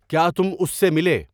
کیا تم اس سے ملے